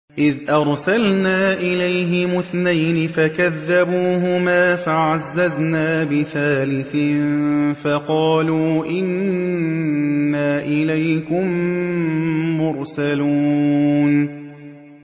إِذْ أَرْسَلْنَا إِلَيْهِمُ اثْنَيْنِ فَكَذَّبُوهُمَا فَعَزَّزْنَا بِثَالِثٍ فَقَالُوا إِنَّا إِلَيْكُم مُّرْسَلُونَ